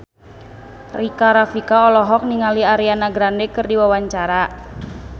Rika Rafika olohok ningali Ariana Grande keur diwawancara